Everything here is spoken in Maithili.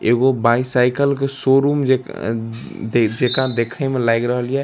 एगो बाईसाइकिल के शो-रूम जे जेका देखे में लग रहलिए।